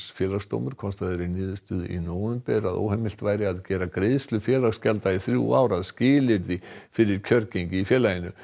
Félagsdómur komst að þeirri niðurstöðu í nóvember að óheimilt væri að gera greiðslu félagsgjalda í þrjú ár að skilyrði fyrir kjörgengi í félaginu